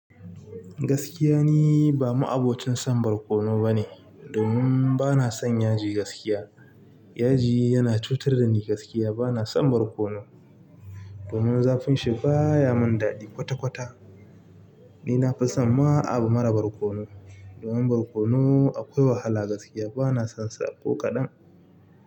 Gaskiya ni ba ma'abocin son barkono bane domin bana son yaji gaskiya. Yaji yana cutar da ni gaskiya. Ba na son barkono, domin zafin shi baya mun daɗi kwata-kwata. Ni na fi son ma abu mara barkono, domin barkono akwai wahala gaskiya. Ba na son saƙo kaɗan.